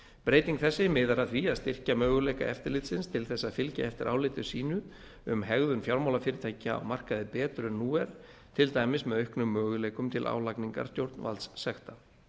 breyting þessi miðar að því að styrkja möguleika eftirlitsins til þess að fylgja eftir áliti sínu um hegðun fjármálafyrirtækja á markaði betur en nú er til dæmis með auknum möguleikum til álagningar stjórnvaldssekta